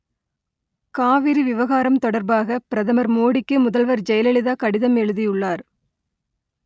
காவிரி விவகாரம் தொடர்பாக பிரதமர் மோடிக்கு முதல்வர் ஜெயலலிதா கடிதம் எழுதியுள்ளார்